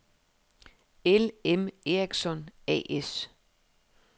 L.M. Ericsson A/S